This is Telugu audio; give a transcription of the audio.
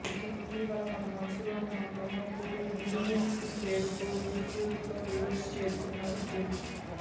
ఇటీవల తన మనసులోని మాటలను పూరి మ్యూజింగ్స్ పేరుతో యూట్యూబ్లో రిలీజ్ చేస్తున్నాడు పూరి